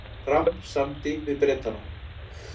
Fram samdi við Bretana